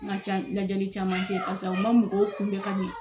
N ka ca lajɛli caman cɛ parisa u ma mɔgɔw kunbɛ ka ɲɛ